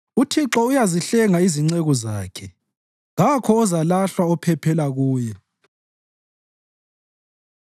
UThixo uyazihlenga izinceku zakhe; kakho ozalahlwa ophephela kuye.